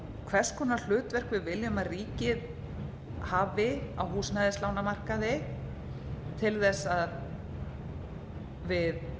hvers konar hlutverk við viljum að ríkið hafi a húsnæðislánamarkaði til þess að við